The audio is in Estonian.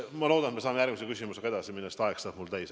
Ma loodan, et me saame järgmise küsimusega edasi minna, sest mul saab aeg täis.